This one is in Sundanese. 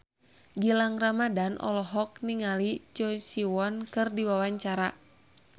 Gilang Ramadan olohok ningali Choi Siwon keur diwawancara